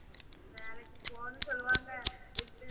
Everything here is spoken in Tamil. வேலைக்கு போனும் சொல்லுவாங்க